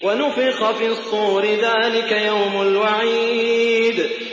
وَنُفِخَ فِي الصُّورِ ۚ ذَٰلِكَ يَوْمُ الْوَعِيدِ